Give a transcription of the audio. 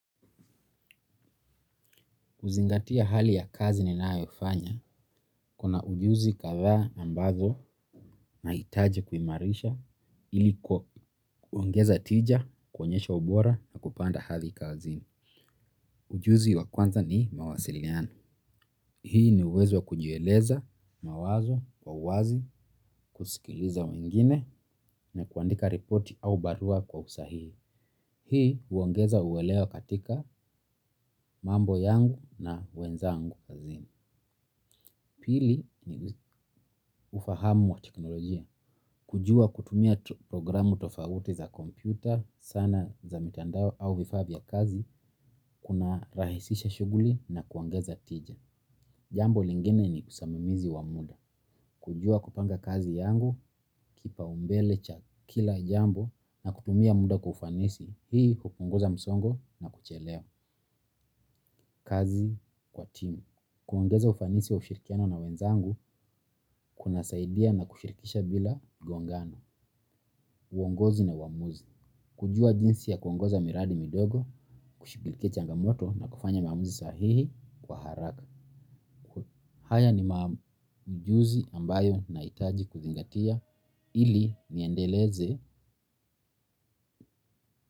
Kuzingatia hali ya kazi ninayofanya, kuna ujuzi katha ambazo nahitaji kuimarisha iliku kuongeza tija, kuonyesha ubora na kupanda hali kazi. Ujuzi wa kwanza ni mawasiliano. Hii ni uwezo wa kujieleza mawazo kwa uwazi kusikiliza wengine na kuandika ripoti au barua kwa usahihi. Hii huongeza uelewa katika mambo yangu na wenzangu kazini. Pili ni ufahamu wa teknolojia. Kujua kutumia programu tofauti za kompyuta, sana za mitandao au vifaa vya kazi, kuna rahisisha shuguli na kuongeza tija. Jambo lingine ni kusamamizi wa muda. Kujua kupanga kazi yangu, kipa umbele cha kila jambo na kutumia muda kwa ufanisi, hii hupunguza msongo na kuchelewa. Kazi kwa timu, kuongeza ufanisi wa ushirikiano na wenzangu kuna saidia na kushirikisha bila gongano, uongozi na uamuzi. Kujua jinsi ya kuongoza miradi midogo, kushigilikia changamoto na kufanya maamuzi sahihi kwa haraka. Haya ni maujuzi ambayo na hitaji kuzingatia ili niendeleze.